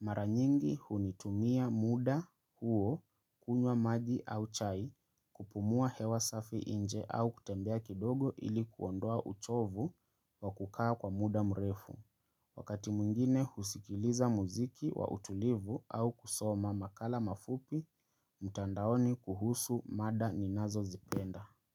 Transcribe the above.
Maranyingi hunitumia muda huo, kunywa maji au chai, kupumua hewa safi inje au kutembea kidogo ili kuondoa uchovu wa kukaa kwa muda mrefu. Wakati mungine husikiliza muziki wa utulivu au kusoma makala mafupi, mutandaoni kuhusu mada ninazo zipenda.